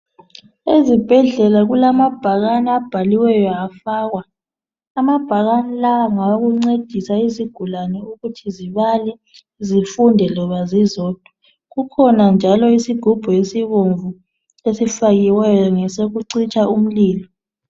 Ezibhedlela kulama bhakani abhaliweyo hafakwa amabhakani lawa ngawokuncedisa izigulane ukuthi zibale zifunde loba zizodwa kukhona njalo isigubhu esibomvu esifakiweyo ngesokucitsha umlilo